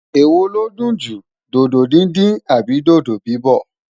ewọ lọdun jù, dodo dindin Abi dodo bibọ?